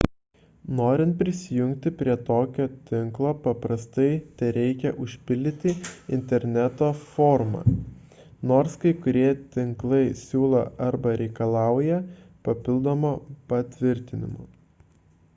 norint prisijungti prie tokio tinklo paprastai tereikia užpildyti interneto formą nors kai kurie tinklai siūlo arba reikalauja papildomo patvirtinimo